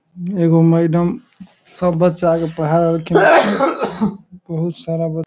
एगो मैडम सब बच्चा के पढ़ा रहलखिन बहुत सारा --